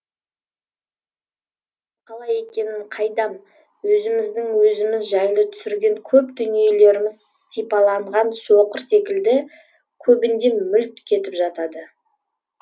қалай екенін қайдам өзіміздің өзіміз жайлы түсірген көп дүниелеріміз сипаланған соқыр секілді көбінде мүлт кетіп жатады